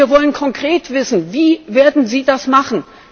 Wir wollen konkret wissen Wie werden Sie das machen?